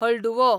हळडुवो